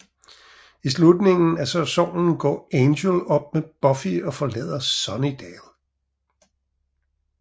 I slutningen af sæsonen slår Angel op med Buffy og forlader Sunnydale